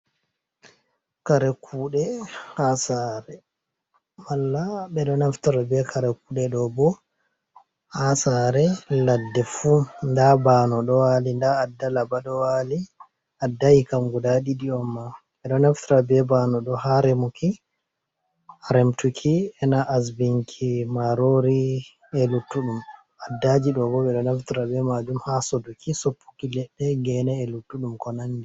Karekude harmala ft kare kude dobo ha sare ladde fu da bano do wali da addala bado wali addayi kam guda didi omma edonafta be bano do ha remuki aremtuki enaasbinki marori e luttuɗum addaji dbft majum ha sodoki soppuki ledde gene e luttuɗum konandi.